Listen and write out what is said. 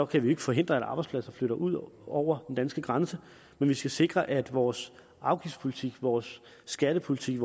kan vi ikke forhindre at arbejdspladser flytter ud over den danske grænse men vi skal sikre at vores afgiftspolitik vores skattepolitik